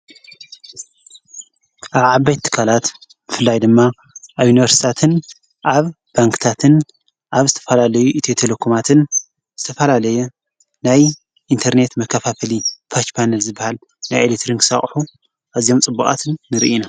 ኣብዓባይ ትካላት ፍላይ ድማ ኣዩንበርስታትን ኣብ ባንክታትን ኣብ ዝተፈላለዩ እት የተለኩማትን ዝተፈላለየ ናይ ኢንተርኔት መካፋፈሊ ባጭባነ ዝበሃል ናይ ኤሌትርንክሳቕሑ ኣዚም ጽቡቓትን ንርኢና።